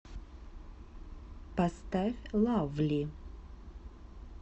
поставь лавли